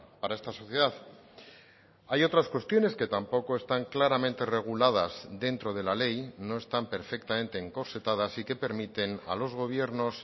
para esta sociedad hay otras cuestiones que tampoco están claramente reguladas dentro de la ley no están perfectamente encorsetadas y que permiten a los gobiernos